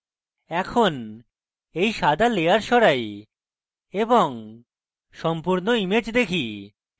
এখন এই সাদা layer সরাই এবং সম্পূর্ণ image দেখি